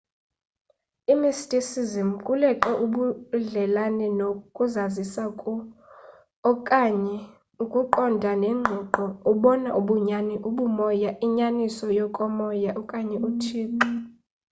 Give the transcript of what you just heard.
imysticism kuleqe ubudlelane no ukuzazisa ku okanye ukuqonda ngengqiqo obona bunyani ubumoya inyaniso yokomoya okanye uthixo